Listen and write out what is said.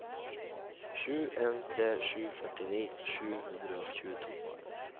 sju en tre sju førtini sju hundre og tjueto